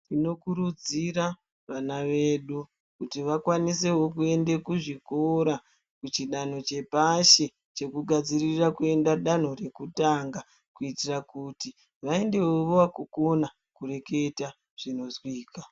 Tinokurudzira vana vedu kuti vakwanisewo kuzvikora kuchidano chepashi chekugadsirira kuenda danho rekutanga kuitira kuti vaendewo vakukona kurekera zvinozwika.